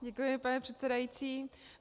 Děkuji, pane předsedající.